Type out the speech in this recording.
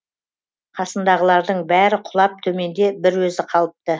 қасындағылардың бәрі құлап төменде бір өзі қалыпты